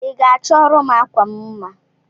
Iga achọrọm akwam mma?